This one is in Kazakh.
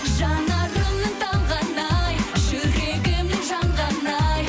жанарымның талғаны ай жүрегімнің жанғаны ай